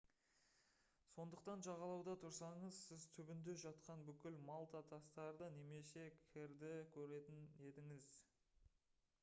сондықтан жағалауда тұрсаңыз сіз түбінде жатқан бүкіл малта тастарды немесе кірді көретін едіңіз